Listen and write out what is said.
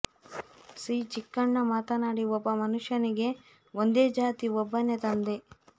C Chikkanna ಮಾತನಾಡಿ ಒಬ್ಬ ಮನುಷ್ಯನಿಗೆ ಒಂದೇ ಜಾತಿ ಒಬ್ಬನೇ ತಂದೆ